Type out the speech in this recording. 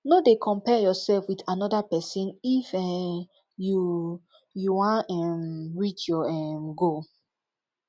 no dey compare yourself with anoda pesin if um you you wan um reach your um goal